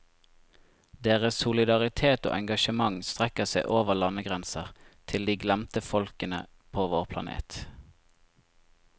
Deres solidaritet og engasjement strekker seg over landegrenser, til de glemte folkene på vår planet.